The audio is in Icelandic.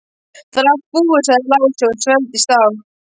Það er allt búið, sagði Lási og svelgdist á.